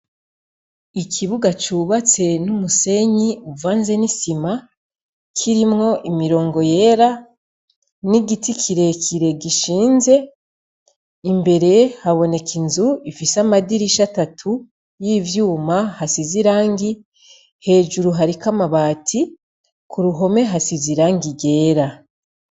Ikibuga cubatse n'umusenyi uvanze n'isima, kirimwo imirongo yera n'igiti kirekire gishinze, imbere haboneka inzu ifise amadirisha atatu y'ivyuma asize irangi, hejuru hariko amabati, ku ruhome hasize irangi ryera.